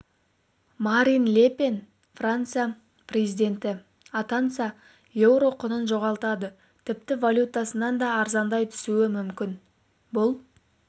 марин ле пен франция президенті атанса еуро құнын жоғалтады тіпті валютасынан да арзандай түсуі мүмкін бұл